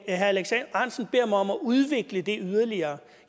alex ahrendtsen beder mig om at udvikle det yderligere